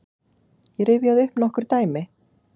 Ég rifjaði upp nokkur dæmi.